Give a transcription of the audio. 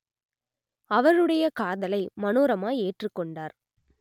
அவருடைய காதலை மனோரமா ஏற்றுக்கொண்டார்